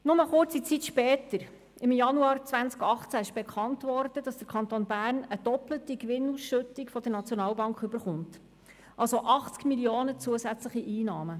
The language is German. Kurz darauf, im Januar 2018, wurde bekannt, dass der Kanton Bern eine doppelte Gewinnausschüttung der SNB erhält, also 80 Mio. Franken zusätzliche Einnahmen.